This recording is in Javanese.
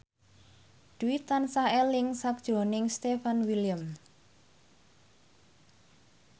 Dwi tansah eling sakjroning Stefan William